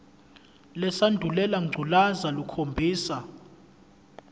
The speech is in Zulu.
lesandulela ngculazi lukhombisa